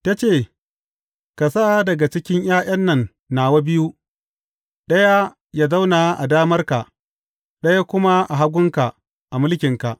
Ta ce, Ka sa daga cikin ’ya’yan nan nawa biyu, ɗaya yă zauna a damarka, ɗaya kuma a hagunka, a mulkinka.